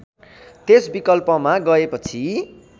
त्यस विकल्पमा गएपछि